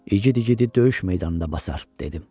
İgid igidi döyüş meydanında basar, dedim.